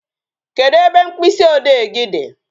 Kedụ ebe mkpịsị ode gị dị?